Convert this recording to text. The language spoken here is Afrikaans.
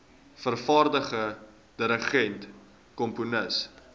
vervaardiger dirigent komponis